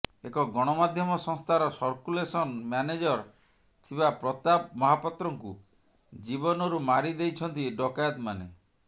ଏକ ଗଣମାଧ୍ୟମ ସଂସ୍ଥାର ସର୍କୁଲେସନ ମ୍ୟାନେଜର ଥିବା ପ୍ରତାପ ମହାପାତ୍ରଙ୍କୁ ଜୀବନରୁ ମାରିଦେଇଛନ୍ତି ଡକାୟତମାନେ